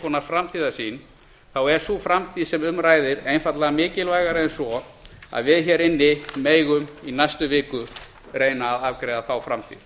konar framtíðarsýn þá er sú framtíð sem um ræðir einfaldlega mikilvægari en svo að við hér inni megum í næstu viku reyna að afgreiða þá framtíð